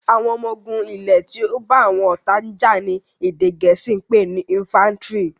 àwọn ọmọ ogun ilè tí o bá àwọn ọta já ní èdè gèésì pé ní "infantry".